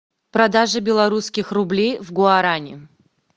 продажа белорусских рублей в гуарани